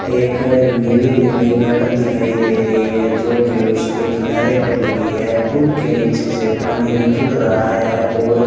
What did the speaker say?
एक नीली नीली गार्डर दिखाई दे रही है जो कि उसके किनारे पर लगी है पुल के नीचे से पानी निकल रहा है और --